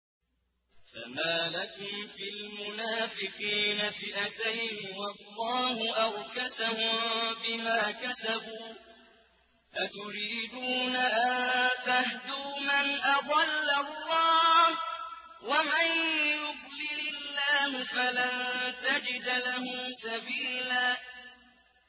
۞ فَمَا لَكُمْ فِي الْمُنَافِقِينَ فِئَتَيْنِ وَاللَّهُ أَرْكَسَهُم بِمَا كَسَبُوا ۚ أَتُرِيدُونَ أَن تَهْدُوا مَنْ أَضَلَّ اللَّهُ ۖ وَمَن يُضْلِلِ اللَّهُ فَلَن تَجِدَ لَهُ سَبِيلًا